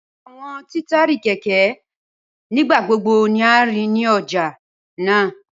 Awọn titari kẹkẹ-kẹkẹ nigbagbogbo ni a rii ni ọja naa